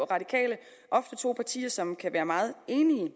radikale ofte to partier som kan være meget enige